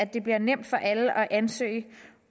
det bliver nemt for alle at ansøge